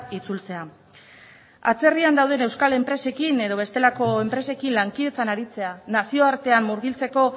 itzultzea atzerrian dauden euskal enpresekin edo bestelako enpresekin lankidetzan aritzea nazioartean murgiltzeko